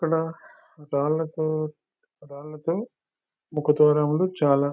ఇక్కడ రాళ్లతో రాళ్లతో ముఖ ద్వారములు చాలా--